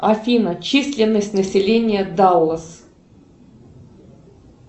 афина численность населения даллас